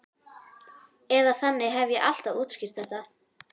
Eða þannig hef ég alltaf útskýrt þetta.